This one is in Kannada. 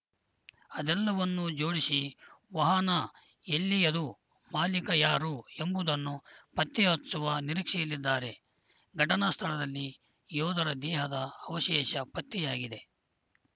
ಅದೆಲ್ಲವನ್ನೂ ಜೋಡಿಸಿ ವಾಹನ ಎಲ್ಲಿಯದ್ದು ಮಾಲೀಕ ಯಾರು ಎಂಬುದನ್ನು ಪತ್ತೆ ಹಚ್ಚುವ ನಿರೀಕ್ಷೆಯಲ್ಲಿದ್ದಾರೆ ಘಟನಾ ಸ್ಥಳದಲ್ಲಿ ಯೋಧರ ದೇಹದ ಅವಶೇಷ ಪತ್ತೆಯಾಗಿದೆ